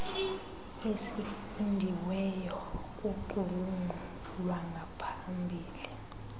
esifundiweyo kuqulunqo lwangaphambili